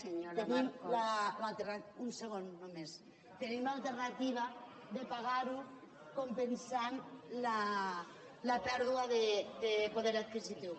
tenim un segon només l’alternativa de pagar ho compensant la pèrdua de poder adquisitiu